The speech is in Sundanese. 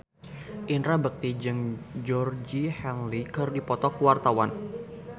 Indra Bekti jeung Georgie Henley keur dipoto ku wartawan